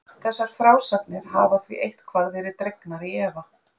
Þessar frásagnir hafa því eitthvað verið dregnar í efa.